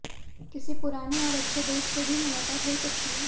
किसी पुराने और अच्छे दोस्त से भी मुलाकात हो सकती है